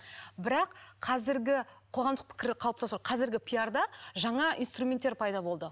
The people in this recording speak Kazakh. бірақ қазіргі қоғамдық пікір қалыптастыру қазіргі пиарда жаңа инструменттер пайда болды